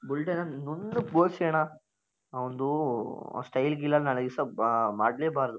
ಬುಲ್ಡೇನ ನುಣ್ಣ್ ಗೆ ಬೋಳ್ಸಿ ಅಣ್ಣ. ಅವಂದು ಸ್ಟೈಲ್ ಗಿಲ್ ಎಲ್ಲಾ ನಾಳೆ ದಿವಸಾ ಆಹ್ಹ್ ಮಾಡ್ಲೆಬಾರದು.